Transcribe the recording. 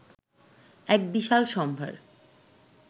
এক বিশাল সম্ভার